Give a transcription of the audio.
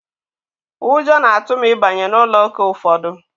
Ụjọ na-atụ m ịbanye n'ụlọ ụka ụfọdụ.